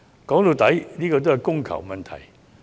說到底，這只是供求的問題。